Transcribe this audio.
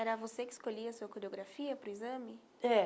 Era você que escolhia a sua coreografia para o exame? é